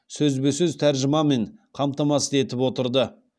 сөзбе сөз тәржімамен қамтамасыз етіп отырды